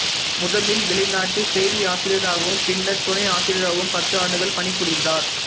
முதலில் வெளிநாட்டுச் செய்தியாசிரியராகவும் பின்னர் துணை ஆசிரியராகவும் பத்து ஆண்டுகள் பணி புரிந்தார்